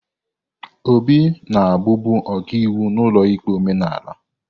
Obi na-abụbu ọkaiwu n'ụlọikpe omenala.